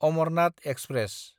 Amarnath express